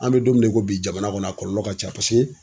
An be don mina ko bi jamana kɔni a kɔlɔlɔ ka ca paseke